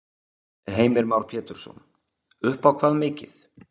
Heimir Már Pétursson: Upp á hvað mikið?